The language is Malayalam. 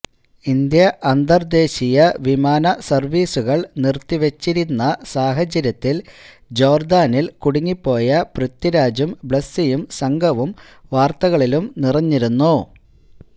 ഇന്ത്യ അന്തര്ദേശീയ വിമാനസര്വ്വീസുകള് നിര്ത്തിവച്ചിരുന്ന സാഹചര്യത്തില് ജോര്ദ്ദാനില് കുടുങ്ങിപ്പോയ പൃഥ്വിരാജും ബ്ലെസിയും സംഘവും വാര്ത്തകളിലും നിറഞ്ഞിരുന്നു